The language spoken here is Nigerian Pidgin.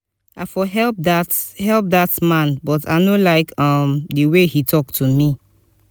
i for help dat for help dat man but i no like um the way he talk to me